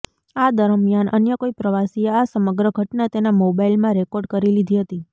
આ દરમિયાન અન્ય કોઈ પ્રવાસીએ આ સમગ્ર ઘટના તેના મોબાઈલમાં રેકોર્ડ કરી લીધી હતી